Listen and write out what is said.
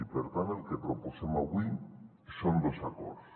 i per tant el que proposem avui són dos acords